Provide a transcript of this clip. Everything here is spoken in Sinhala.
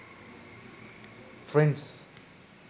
friends